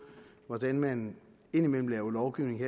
hvordan man indimellem laver lovgivning